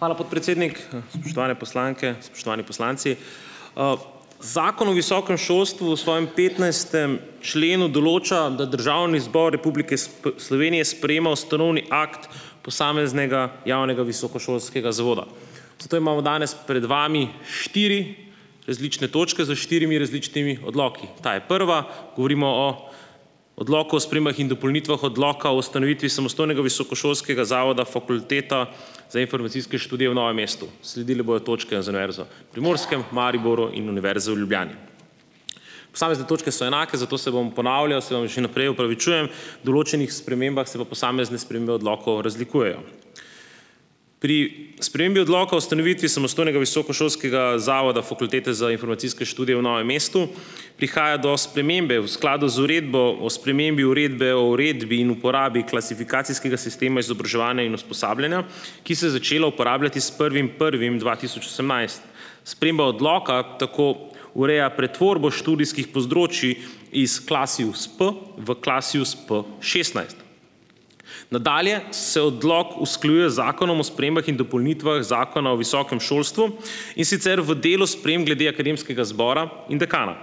Hvala, podpredsednik. Spoštovane poslanke, spoštovani poslanci. Zakon o visokem šolstvu v svojem petnajstem členu določa, da Državni zbor Republike Slovenije sprejema ustanovni akt posameznega javnega visokošolskega zavoda. Zato imamo danes pred vami štiri različne točke, s štirimi različnimi odloki. Ta je prva, govorimo o Odloku o spremembah in dopolnitvah Odloka o ustanovitvi samostojnega visokošolskega zavoda Fakulteta za informacijske študije v Novem mestu. Sledile bojo točke za Univerzo Primorskem, v Mariboru in Univerze v Ljubljani. Posamezne točke so enake, zato se bom ponavljal - se vam že naprej opravičujem, določenih spremembah se pa posamezne spremembe odlokov razlikujejo. Pri spremembi Odloka o ustanovitvi samostojnega visokošolskega zavoda Fakultete za informacijske študije v Novem mestu prihaja do spremembe v skladu z uredbo o spremembi uredbe o uredbi in uporabi klasifikacijskega sistema izobraževanja in usposabljanja, ki se je začela uporabljati s prvim prvim dva tisoč osemnajst. Sprememba odloka tako ureja pretvorbo študijskih področij iz Klasius-P v Klasius-P šestnajst. Nadalje se odlok usklajuje z Zakonom o spremembah in dopolnitvah Zakona o visokem šolstvu, in sicer v delu sprememb glede akademskega zbora in dekana.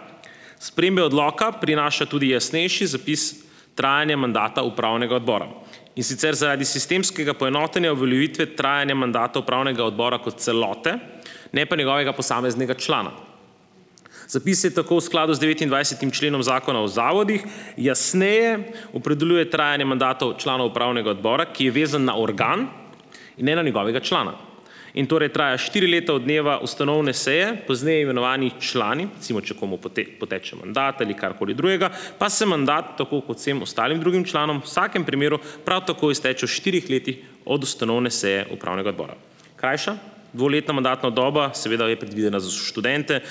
Spremembe odloka prinaša tudi jasnejši zapis trajanja mandata upravnega odbora, in sicer zaradi sistemskega poenotenja uveljavitve trajanja mandata upravnega odbora kot celote, ne pa njegovega posameznega člana. Zapis je tako v skladu z devetindvajsetim členom Zakona o zavodih, jasneje opredeljuje trajanje mandatov članov upravnega odbora, ki je vezan na organ in ne na njegovega člana. In torej traja štiri leta od dneva ustanovne seje, pozneje imenovani člani, recimo, če komu poteče mandat ali karkoli drugega, pa se mandat tako kot vsem ostalim drugim članom v vsakem primeru prav tako izteče v štirih letih od ustanovne seje Upravnega odbora. Krajša, dvoletna mandatna doba seveda je predvidena za študente,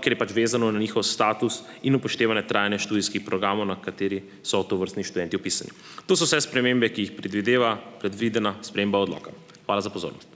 ker je pač vezano na njihov status in upoštevanje trajanja študijskih programov, na kateri so tovrstni študenti vpisani. To so vse spremembe, ki jih predvideva predvidena sprememba odloka. Hvala za pozornost.